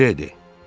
Milédi.